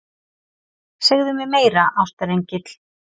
Segðu mér meira, ástarengill.